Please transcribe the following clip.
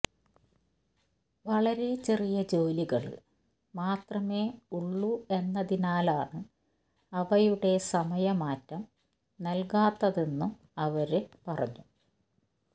വളരെ ചെറിയ ജോലികള് മാത്രമെ ഉള്ളു എന്നതിനാലാണ് അവയുടെ സമയ മാറ്റം നല്കാത്തതെന്നും അവര് പറഞ്ഞു